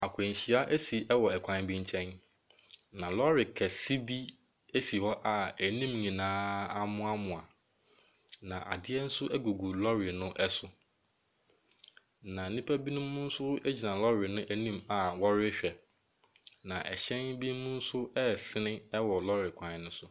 Akwanhyia asi ɛwɔ ɛkwan bi nkyɛn. Na lɔɔre kɛse bi esi hɔ a anim nyinaa amoamoa. Na adeɛ nso egugu lɔɔre no ɛso. Na nipa binom nso egyina lɔɔre no anim a wɔrehwɛ. Na ɛhyɛn bi nomnso ɛsen ɛwɔ lɔɔre kwan no so.